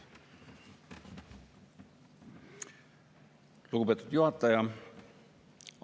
Lugupeetud juhataja!